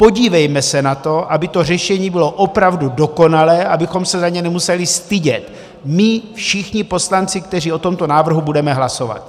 Podívejme se na to, aby to řešení bylo opravdu dokonalé, abychom se za něj nemuseli stydět my všichni poslanci, kteří o tomto návrhu budeme hlasovat.